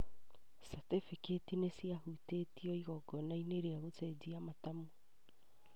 catĩbĩkĩti nĩciaheanirwo igongona-inĩ rĩa gũcenjania matamu